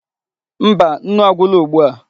Mba, nnu agwula ugbu a.